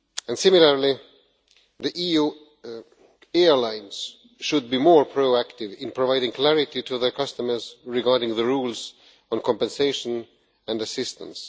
Similarly, EU airlines should be more proactive in providing clarity to their customers regarding the rules on compensation and assistance.